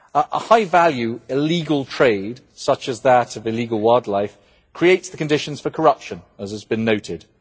A high-value illegal trade such as that of illegal wildlife creates the conditions for corruption, as has been noted.